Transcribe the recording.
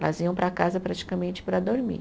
Elas iam para casa praticamente para dormir.